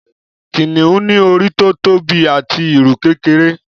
Kìnìún ní orí tó tóbi àti ìrù kékeré